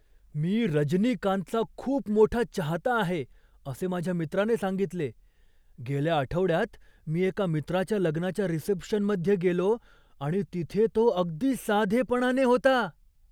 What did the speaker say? मी रजनीकांतचा खूप मोठा चाहता आहे असे माझ्या मित्राने सांगितले. "गेल्या आठवड्यात, मी एका मित्राच्या लग्नाच्या रिसेप्शनमध्ये गेलो आणि तिथे तो अगदी साधेपणाने होता!"